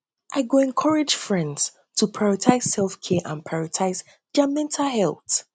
i go encourage friends go encourage friends to practice selfcare and prioritize their mental health